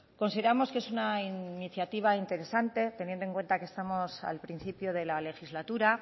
consideramos que es una iniciativa interesante teniendo en cuenta que estamos al principio de la legislatura